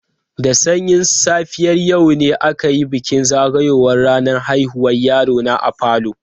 Da sanyin safiyar yau ne aka yi bikin zagayowar ranar haihuwar yaro na a falo.